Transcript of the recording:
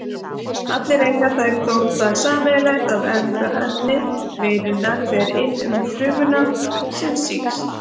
Allar eiga þær þó það sameiginlegt að erfðaefni veirunnar fer inn frumuna sem sýkist.